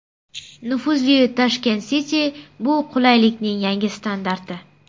Nufuzli Tashkent City bu qulaylikning yangi standarti.